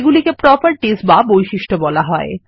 এগুলিকে প্রপার্টিস বাবৈশিষ্ট্য বলা হয়